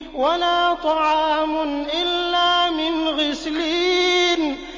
وَلَا طَعَامٌ إِلَّا مِنْ غِسْلِينٍ